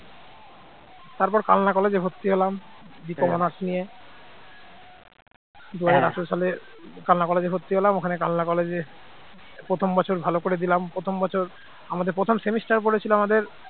তারপর কালনা college এ ভর্তি হলাম BCOMhonours নিয়ে দুই হাজার আঠারো সালে কালনা college এ ভর্তি হলাম ওখানে কালনা college এ প্রথম বছর ভালো করে দিলাম। প্রথম বছর আমাদের প্রথম semester পড়েছিল আমাদের